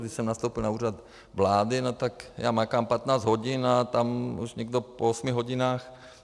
Když jsem nastoupil na Úřad vlády, tak já makám 15 hodin a tam už nikdo po osmi hodinách...